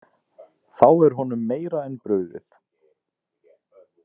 Þá er honum meira en brugðið.